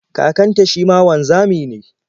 Kakanta shi ma wanzami ne.